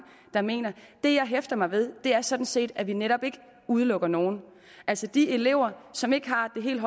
der mener det jeg hæfter mig ved er sådan set at vi netop ikke udelukker nogen altså de elever som ikke har et helt